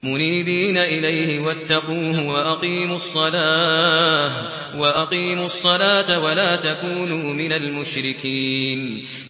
۞ مُنِيبِينَ إِلَيْهِ وَاتَّقُوهُ وَأَقِيمُوا الصَّلَاةَ وَلَا تَكُونُوا مِنَ الْمُشْرِكِينَ